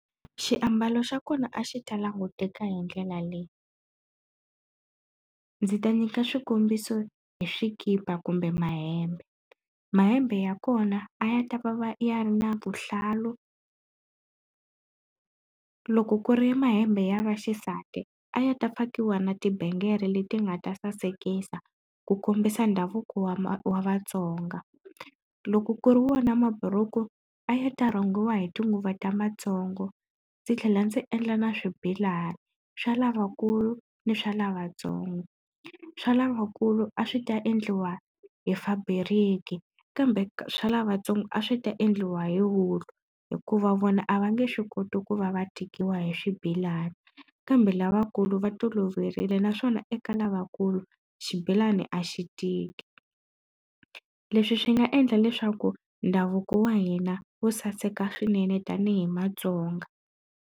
Xiambalo xa kona a xi ta languteka hi ndlela leyi, ndzi ta nyika xikombiso hi swikipa kumbe mahembe. Mahembe ya kona a ya ta va va ya ri na vuhlalu loko ku ri mahembe ya vaxisati a ya ta fakiwa na tibengere leti nga ta sasekisa ku kombisa ndhavuko wa wa Vatsonga. Loko ku ri wona maburuku a ya ta rhungiwa hi tinguva ta matsongo ndzi tlhela ndzi endla na swibelani swa lavakulu ni swa lavatsongo. Swa lavakulu a swi ta endliwa hi faburiki kambe swa lavatsongo a swi ta endliwa hi wulu hikuva vona a va nge swi koti ku va va tikiwa hi swibelani. Kambe lavakulu va toloverile naswona eka lavakulu xibelani a xi tiki leswi swi nga endla leswaku ndhavuko wa hina wu saseka swinene tanihi Matsonga.